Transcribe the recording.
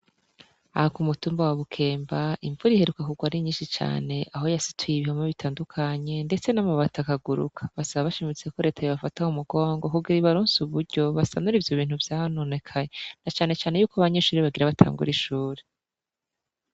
Aha kumutumba wa Bukemba, invura iheruka kugwa ari nyinshi cane aho yasituye ibihome bitandukanye ndetse namabati akaguruka. Basaba bashimitse ko Leta yobafata mumugongo kugira ngo ibaronse uburyo basanure ivyo bintu vyononekaye nacanecane ko abanyeshure bagomba batangure ishure.